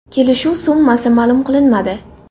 Kelishuv summasi ma’lum qilinmadi.